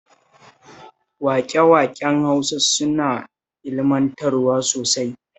Waƙe-waƙen Hausa suna ilmantarwa sosai